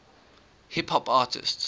hip hop artists